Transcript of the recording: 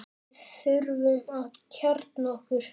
Við þurfum að kjarna okkur